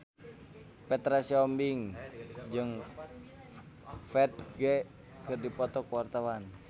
Petra Sihombing jeung Ferdge keur dipoto ku wartawan